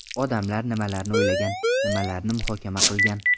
Odamlar nimalarni o‘ylagan, nimalarni muhokama qilgan?